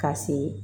Ka se